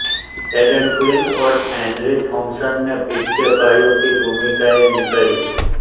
Aiden Quinn और Henry Thomas ने Pitt के भाइयों की भूमिकाएं निभाईं